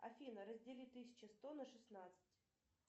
афина раздели тысячу сто на шестнадцать